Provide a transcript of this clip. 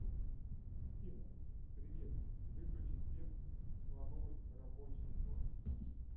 афина привет выключи свет в кладовой в рабочей зоне